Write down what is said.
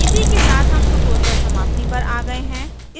इसी के साथ हम tutorial समाप्ति पर आ गए है